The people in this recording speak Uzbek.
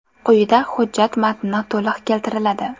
Quyida hujjat matni to‘liq keltiriladi.